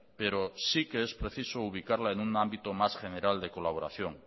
pero sí que es preciso ubicarla en un ámbito más general de colaboración